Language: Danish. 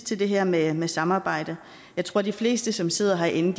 til det her med med samarbejdet jeg tror de fleste som sidder herinde